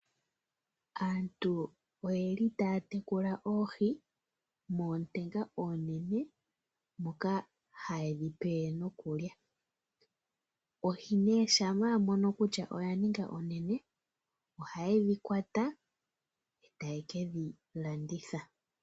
Aantu oyeli taya tekula oohi mootenga oonene moka hayedhipe nokulya. Oohi nee shamap wamono kutya oyaninga onene oha yedhi kwata eta ye kedhilanditha.